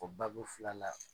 O babu fil'a la